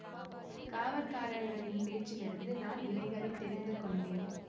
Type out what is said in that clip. காவற்காரர்களின் பேச்சிலிருந்து தான் இவைகளைத் தெரிந்து கொண்டேன்